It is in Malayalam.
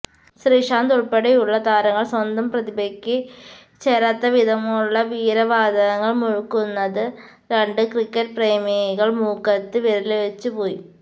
ശ്രീശാന്തുള്പ്പെടെയുളള താരങ്ങള് സ്വന്തം പ്രതിഭയ്ക്ക് ചേരാത്തവിധമുളള വീരവാദങ്ങള് മുഴക്കുന്നത് കണ്ട് ക്രിക്കറ്റ് പ്രേമികള് മൂക്കത്ത് വിരല്വെച്ചു പോയി